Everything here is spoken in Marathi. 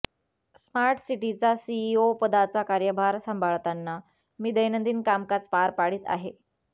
स्मार्टसिटीचा सीईओपदाचा कार्यभार सांभाळतांना मी दैनंदिन कामकाज पार पाडीत आहे